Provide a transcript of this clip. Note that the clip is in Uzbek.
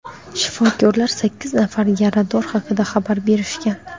Shifokorlar sakkiz nafar yarador haqida xabar berishgan.